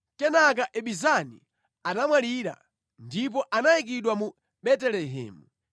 Kenaka Ibizani anamwalira, ndipo anayikidwa mu Betelehemu.